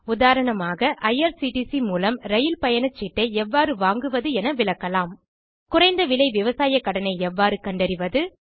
உதாரணமாக ஐஆர்சிடிசி மூலம் இரயில் பயணச்சீட்டை எவ்வாறு வாங்குவது என விளக்கலாம் குறைந்த விலை விவசாய கடனை எவ்வாறு கண்டறிவது